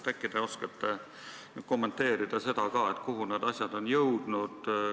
Äkki te oskate kommenteerida sedagi, kuhu need jõudnud on?